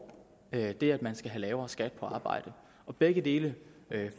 det at man skal have lavere skat på arbejde og begge dele